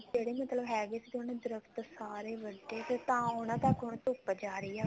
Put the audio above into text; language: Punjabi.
ਜਿਹੜੇ ਮਤਲਬ ਹੈਗੇ ਸੀ ਦਰਖਤ ਸਾਰੇ ਵੱਡੇ ਤਾਂ ਉਹਨਾ ਤੱਕ ਹੁਣ ਧੁਪ ਜਾ ਰਹੀ ਆ